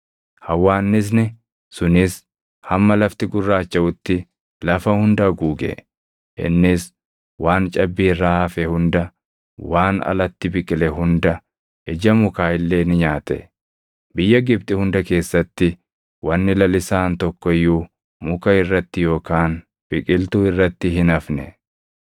Hawwaannisni sunis hamma lafti gurraachaʼutti lafa hunda haguuge; innis waan cabbii irraa hafe hunda, waan alatti biqile hunda, ija mukaa illee ni nyaate. Biyya Gibxi hunda keessatti wanni lalisaan tokko iyyuu muka irratti yookaan biqiltuu irratti hin hafne.